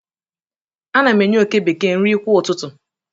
ana m enye oke bekee nri kwa ụtụtụ